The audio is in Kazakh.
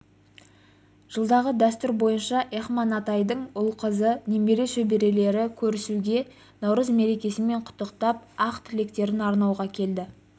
жылдағы дәстүр бойынша эхман атайдың ұл-қызы немере шөберелері көрісуге наурыз мерекесімен құттықтап ақ тілектерін арнауға келді